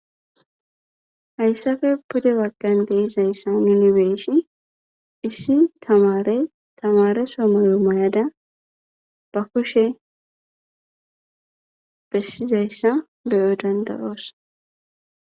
hayssafe pude baggan deizayssa munibeeshi issi tamare tamare so moyo mayada ba kushe bessizayssa beyo dandayoos